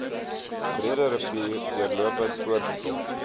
breederivier deurlopend voortgesit